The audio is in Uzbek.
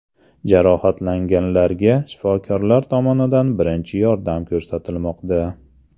Jarohatlanganlarga shifokorlar tomonidan birinchi yordam ko‘rsatilmoqda.